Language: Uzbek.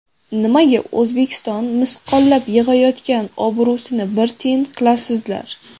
Nimaga O‘zbekiston misqollab yig‘ayotgan obro‘sini bir tiyin qilasizlar?